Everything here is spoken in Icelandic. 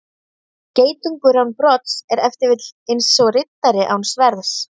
Geitungur án brodds er ef til vill eins og riddari án sverðs.